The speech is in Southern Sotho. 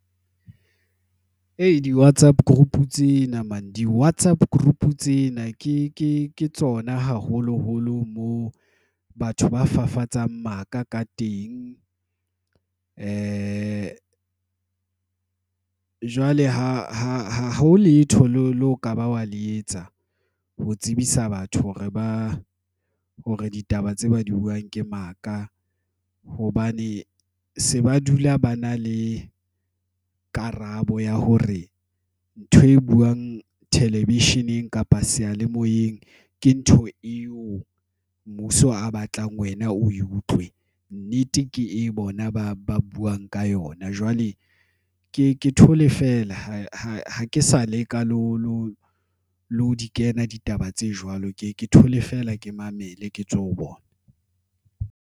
Di-WhatsApp group tseo namane di WhatsApp group tsena, ke tsona haholoholo moo batho ba fafatsang maka ka teng. Wi-Fi jwale ha ho letho leo, le ho ka ba wa le etsa ho tsebisa batho hore ba hore ditaba tse ba di buang ke maka hobane se ba dula ba na le karabo ya hore ntho e buang television-eng kapa seyalemoyeng ke ntho eo mmuso a batlang wena. O ko utlwe nnete, ke e bona ba ba buang ka yona. Jwale ke thole feela ha ke sa leka le ho di kena ditaba tse jwalo, ke ke thole feela ke mamele ketswe ho bona.